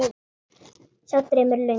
Sá draumur er löngu búinn.